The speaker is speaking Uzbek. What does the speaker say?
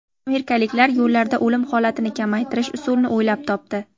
Amerikaliklar yo‘llarda o‘lim holatini kamaytirish usulini o‘ylab topdi.